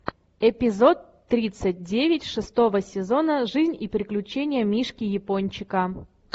эпизод тридцать девять шестого сезона жизнь и приключения мишки япончика